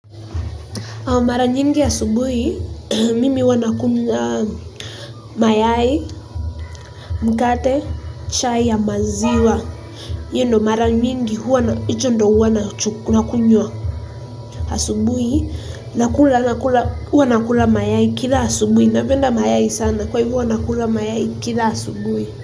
Mara nyingi asubuhi, mimi huwa nakula mayai, mkate, chai ya maziwa. Hiyo ndo mara nyingi, huwa na hicho ndio huwa nakunywa asubuhi, huwa nakula mayai kila asubui. Napenda mayai sana kwa hivo huwa nakula mayai kila asubuhi.